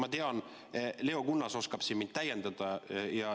Ma tean, et Leo Kunnas oskab siin mind täiendada.